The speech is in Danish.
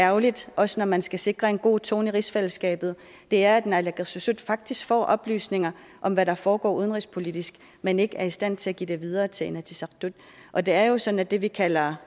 ærgerligt også når man skal sikre en god tone i rigsfællesskabet er at naalakkersuisut faktisk får oplysninger om hvad der foregår udenrigspolitisk men ikke er i stand til at give dem videre til inatsisartut og det er jo sådan at det vi kalder